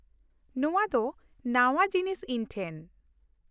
ᱱᱚᱶᱟ ᱫᱚ ᱱᱟᱶᱟ ᱡᱤᱱᱤᱥ ᱤᱧ ᱴᱷᱮᱱ ᱾